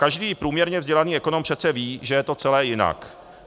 Každý průměrně vzdělaný ekonom přece ví, že je to celé jinak.